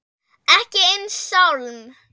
Ekki einn sálm.